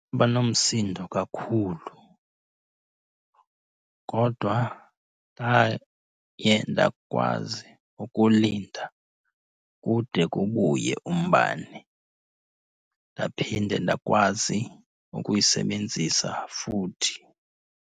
Banomsindo kakhulu kodwa ndaye ndakwazi ukulinda kude kubuye umbane, ndaphinde ndakwazi ukuyisebenzisa futhi.